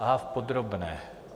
Aha, v podrobné.